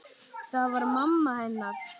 Það var mamma hennar.